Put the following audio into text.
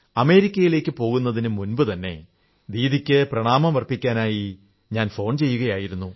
അമേരിക്കയിലേക്കു പോകുന്നതിനു മുമ്പുതന്നെ ദീദിയ്ക്ക് പ്രമാണമർപ്പിക്കാനായി ഫോൺ ചെയ്യുകയായിരുന്നു